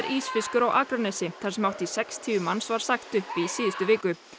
Ísfiskur á Akranesi þar sem hátt í sextíu manns var sagt upp í síðustu viku